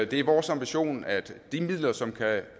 det er vores ambition at de midler som kan